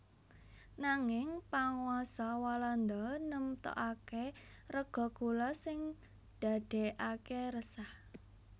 Nanging panguwasa Walanda nemtokaké rega gula sing ndadèkaké resah